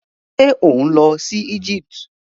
Ṣé ò ń lọ si Egypt?